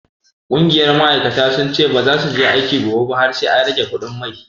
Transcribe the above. Ƙungiyar ma'aikata sun ce baza su je aiki gobe ba har sai an rage kuɗin mai.